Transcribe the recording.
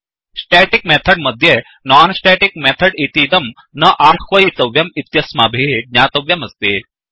static method मध्ये non static method इतीदं न आह्वयितव्यम् इत्यस्माभिः ज्ञातव्यमस्ति